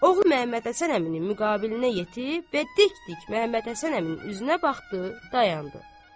Oğlan Məmmədhəsən əminin müqabilinə yetişib və dik dik Məmmədhəsən əminin üzünə baxdı, dayandı.